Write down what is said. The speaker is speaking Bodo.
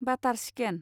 बाटार चिकेन